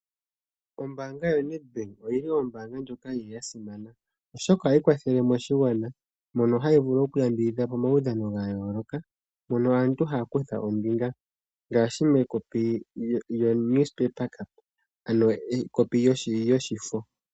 Ombanga yoNedbank oyili ombaanga ndjoka yili ya simana oshoka ohayi kwathele moshigwana mono hayi vulu okuyambidhidha omaudhano ga yooloka. Mono aantu haya kutha ombinga ngaashi mekopi lyoshifo ano ekopi lyoshifo.